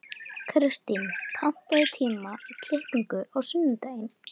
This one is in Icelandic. Kirstín, pantaðu tíma í klippingu á sunnudaginn.